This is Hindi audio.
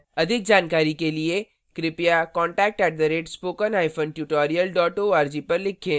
अधिक जानकारी के लिए कृपया contact at spoken hyphen tutorial dot org पर लिखें